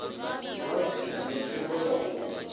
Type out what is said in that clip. vha bvisa ndi tsumbo yavhuḓi